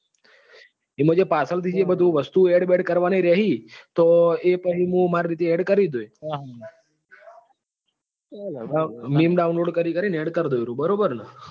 એમાં જે પાછળ થી જે બધું વસ્તુ ઓ add બેડ કરવા ની રેહી તો એ પહી મુ માર રીતે add કરી દોય. મીમ game download કરી કરી ને add કરી દય બરાબર ને.